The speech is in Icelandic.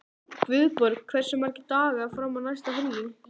Guðborg, hversu margir dagar fram að næsta fríi?